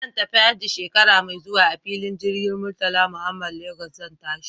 In zan tafi hajji shekara mai zuwa a filin jirgin Murtala Muhammad Lagos zan tashi.